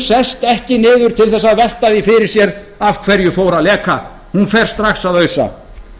sest ekki niður til þess að velta því fyrir sér af hverju fór að leka hún fer strax að ausa